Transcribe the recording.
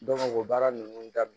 o baara ninnu daminɛ